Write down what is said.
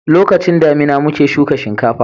lokacin damina muke shuka shinkafa